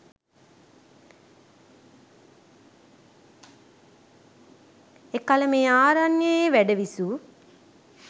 එකල මේ ආරණ්‍යයේ වැඩ විසූ